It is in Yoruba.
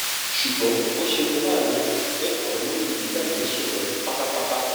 ṣùgbọ́n ó ṣe ní láàánú pé àwọn méjèèjì gbàgbé sùn lọ pátápátá